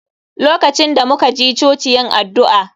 LOkacin da muka ji choci yin addu'a